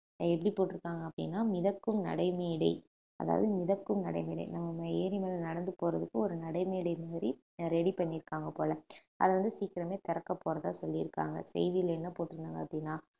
எப்படி போட்டுருக்காங்க அப்படின்னா மிதக்கும் நடைமேடை அதாவது மிதக்கும் நடைமேடை நம்ம ஏரி மேலே நடந்து போறதுக்கு ஒரு நடைமேடை மாதிரி ready பண்ணியிருக்காங்க போல அத வந்து சீக்கிரமே திறக்கப் போறதா சொல்லியிருக்காங்க செய்தியிலே என்ன போட்டிருந்தாங்க அப்படின்னா